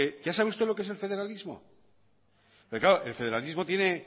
ya sabe usted lo que es el federalismo el federalismo tiene